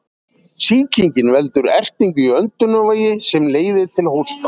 Sýkingin veldur ertingu í öndunarveginum sem leiðir til hósta.